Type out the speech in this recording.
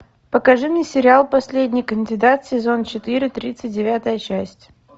покажи мне сериал последний кандидат сезон четыре тридцать девятая часть